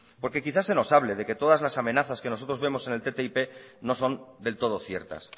porque quizás se nos hable de que todas las amenazas que nosotros vemos en el ttip no son del todo ciertas